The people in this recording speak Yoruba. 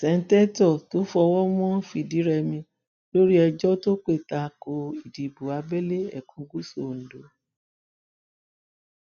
sèǹtẹtò tofowómo fìdírèmi lórí ẹjọ tó pé ta ko ìdìbò abèlè ẹkùn gúúsù ondo